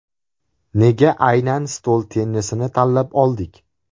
Nega aynan stol tennisini tanlab oldik?